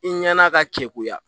I ɲɛna ka jɛkuya